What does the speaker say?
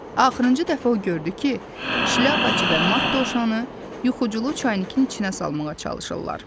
Axırıncı dəfə o gördü ki, şlyapaçı və mart dovşanı yuxuculu çaynikin içinə salmağa çalışırlar.